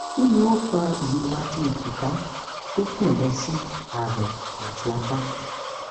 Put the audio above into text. kini o fa irora ti ejika to tan lo si arun ati apa